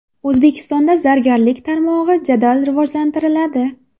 O‘zbekistonda zargarlik tarmog‘i jadal rivojlantiriladi.